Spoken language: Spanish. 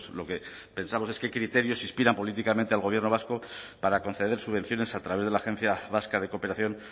lo que pensamos es qué criterios inspiran políticamente al gobierno vasco para conceder subvenciones a través de la agencia vasca de cooperación